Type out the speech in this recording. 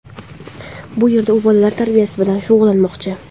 Bu yerda u bolalar tarbiyasi bilan shug‘ullanmoqchi.